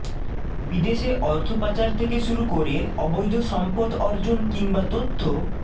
বিদেশে অর্থ পাচার থেকে শুরু করে অবৈধ সম্পদ অর্জন কিংবা তথ্য